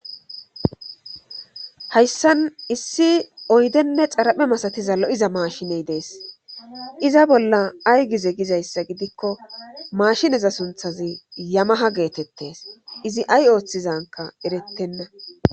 hayssan issi oydenne xaraphe masatiza lo7iza maashiney dees iza bolla ay gize gizayssa gidikko maashineza sunthazi yamaha geetettes izi ay ooththizanka erettenna